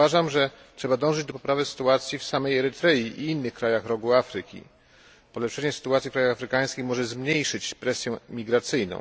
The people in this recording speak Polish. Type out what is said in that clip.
Uważam, że trzeba dążyć do poprawy sytuacji w samej Erytrei i innych krajach rogu Afryki. Polepszenie sytuacji w krajach afrykańskich może zmniejszyć presję migracyjną.